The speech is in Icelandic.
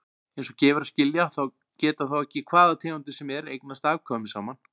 Eins og gefur að skilja geta þó ekki hvaða tegundir sem er eignast afkvæmi saman.